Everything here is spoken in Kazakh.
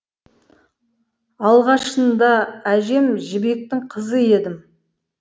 алғашындаәжем жібектің қызы едім